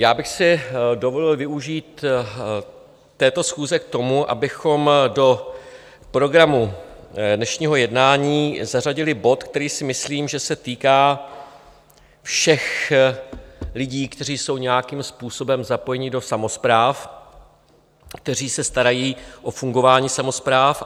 Já bych si dovolil využít této schůze k tomu, abychom do programu dnešního jednání zařadili bod, který si myslím, že se týká všech lidí, kteří jsou nějakým způsobem zapojeni do samospráv, kteří se starají o fungování samospráv.